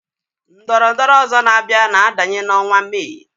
Ndọrọndorọ ọ̀zọ́ na-abịa ga adanye n'ọnwa Mee.